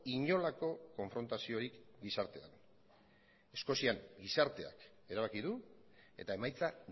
inolako konfrontaziorik gizartean eskozian gizarteak erabaki du eta emaitza